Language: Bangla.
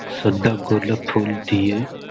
সাদা গোলাপ ফুল দিয়ে --